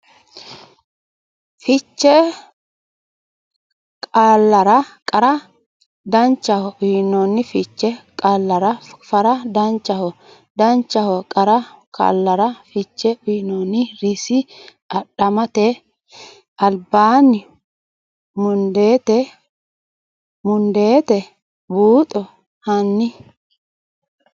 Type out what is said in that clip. fiche qaallara qara Danchaho uyno fiche qaallara qara Danchaho Danchaho qara qaallara fiche uyno Rsn Adhamate albaanni mundeete buuxo hanni !